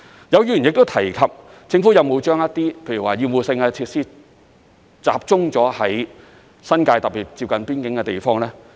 有議員亦提及，政府是否把一些厭惡性設施集中在新界，特別是接近邊境的地方呢？